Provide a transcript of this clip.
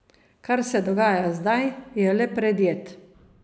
Kar se dogaja zdaj, je le predjed.